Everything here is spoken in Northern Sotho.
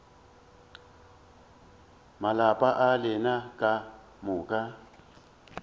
malapa a lena ka moka